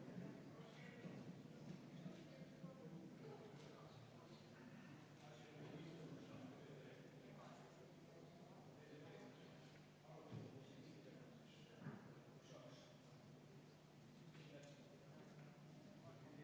Eesti Konservatiivne Rahvaerakond palub selle põhiseadusevastase eelnõu muudatusettepaneku nr 10 hääletamist ja enne seda võtaksime kümme minutit vaheaega.